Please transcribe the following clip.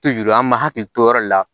an m'an hakili to o yɔrɔ de la